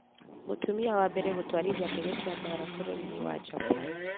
Mũtumia wa mbere gũtwarithia ndege cia mbaara bũrũri-inĩ wa Japan